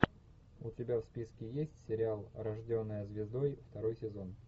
у тебя в списке есть сериал рожденная звездой второй сезон